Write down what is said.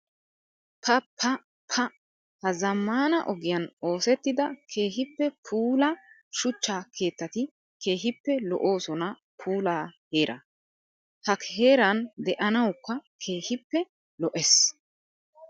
Pa pa pa! Ha zamaana ogiyan oosettidda keehippe puula shuchcha keettatti keehippe lo'osonna puula heera. Ha heeran de'anawukka keehippe lo'ees.